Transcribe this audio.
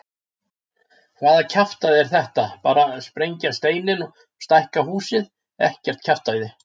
Hvaða kjaftæði er þetta, bara sprengja steininn og stækka húsið, ekkert kjaftæði.